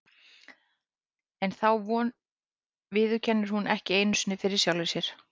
En þá von viðurkennir hún ekki einu sinni fyrir sjálfri sér.